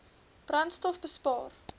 brandstofbespaar